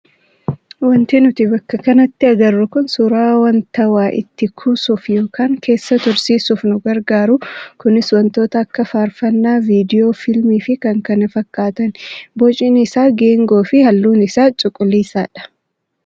Wanti nuti bakka kanatti agarru kun suuraa wanta waa itti kuusuuf yookaan keessa tursiisuuf nu gargaaru kunis wantoota akka faarfannaa, viidiyoo, fiilmii kan kana fakkaatani. Bocni isaa geengoo fi halluun isaa calaqqisaadha.